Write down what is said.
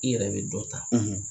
I yɛrɛ bi